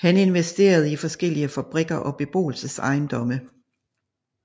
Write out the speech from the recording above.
Han investerede i forskellige fabrikker og beboelsesejendomme